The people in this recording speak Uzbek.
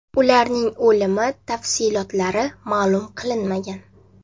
Ularning o‘limi tafsilotlari ma’lum qilinmagan.